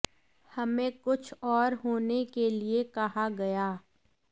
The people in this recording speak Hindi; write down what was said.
हमें कुछ और होने के लिए कहा गया